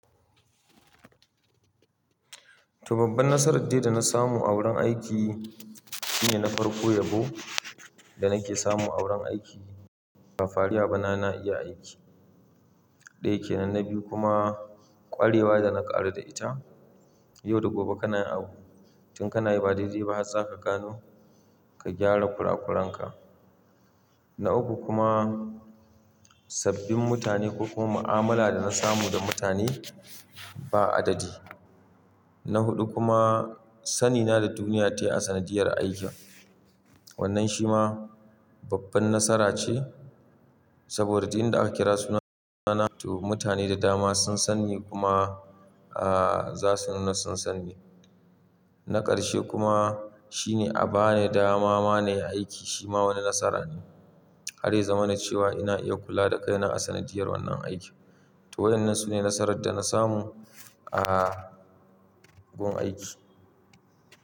To babban nasarar dai da na samu a wurin aiki shine na farko yabo da nake samu a wurin aiki ba fariya ba na iya aiki. Daya kenan, na biyu kuma kwarewa da na ƙaru da ita. Yau da gobe kana abu tun kana yi ba dai dau ba har za ka gano ka gyara kurakuran ka. Na uku kuma sabbin mutane ko kuma mu'amala da na samu da mutane ba adadi. Na hudu kuma sanina da duniya tayi a sanadiyar aiki. Wannan shi ma babban nasara ce saboda duk inda aka kira suna na to mutane da dama sun san ni kuma zasu nuna sun san ni. Na ƙarshe kuma shine a ba ni dama ma na yi aiki shi ma wani nasara ne. Har ya zama na cewa ina iya kula da kaina a sanadiyar wannan aiki. To waƴannan sune nasarar da na samu a gun aiki.